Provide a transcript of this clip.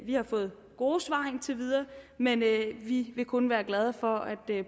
har fået gode svar indtil videre men vi vil kun være glade for at